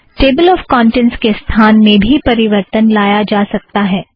table of contents के स्थान में भी परिवर्तन लाया जा सकता है